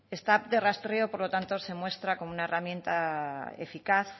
estar de rastreo por lo tanto se muestra como una herramienta eficaz